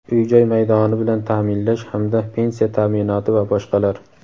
uy-joy maydoni bilan ta’minlash hamda pensiya ta’minoti va boshqalar.